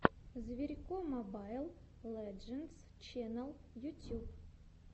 зверько мобайл лэджендс ченнал ютюб